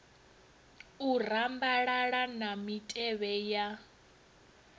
u rambalala na mitevhe ya